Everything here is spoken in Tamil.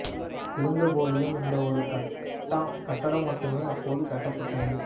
இருந்த போதிலும் இந்த ஒரு கட்டடம் மட்டுமே அப்போது கட்டப்பட்டது